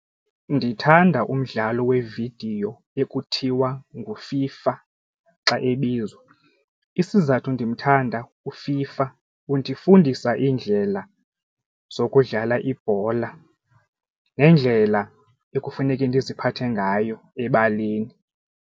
Ndithanda umdlalo wevidiyo ekuthiwa nguFIFA xa ebizwa, isizathu ndimthanda uFIFA undifundisa iindlela zokudlala ibhola neendlela ekufuneke ndiziphathe ngayo ebaleni.